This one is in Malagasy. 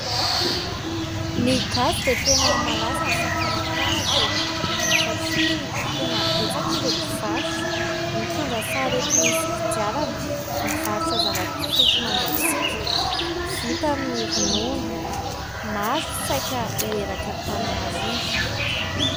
Ny gasy dia tena malaza aminy fakana tahaka E ! Satria tena betsaka ireo mpivarotra mitondra sarety misy kodiarana mivarotra zava-pisotro mangatsika vita amin'ny ronono. Maro saika ho eraka ny Antananarivo.